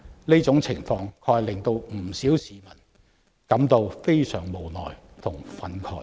這種情況確實令不少市民感到非常無奈和憤慨。